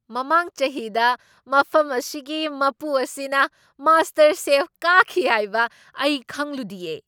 ꯃꯃꯥꯡ ꯆꯍꯤꯗ ꯃꯐꯝ ꯑꯁꯤꯒꯤ ꯃꯄꯨ ꯑꯁꯤꯅ ꯃꯥꯁꯇꯔꯁꯦꯐ ꯀꯥꯈꯤ ꯍꯥꯏꯕ ꯑꯩ ꯈꯪꯂꯨꯗꯤꯌꯦ!